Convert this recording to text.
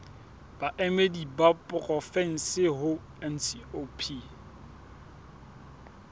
baemedi ba porofensi ho ncop